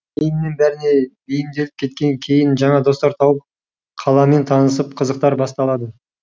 кейіннен бәріне бейімделіп кеткен кейін жаңа достар тауып қаламен танысып қызықтар басталады